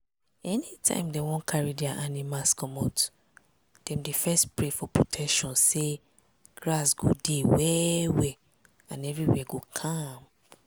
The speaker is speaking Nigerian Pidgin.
anytime dem wan carry dia animals commot dem dey first pray for protection say grass go dey well well and everywhere go calm.